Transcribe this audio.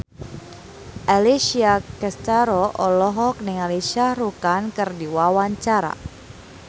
Alessia Cestaro olohok ningali Shah Rukh Khan keur diwawancara